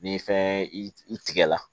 Ni fɛn i tigɛla